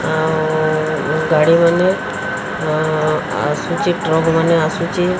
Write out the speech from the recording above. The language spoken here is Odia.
ଅଁ ଆଉ ଗାଡ଼ି ଅଁ ମାନେ ଆସୁଚି ଟ୍ରକ୍ ମାନେ ଆସୁଚି।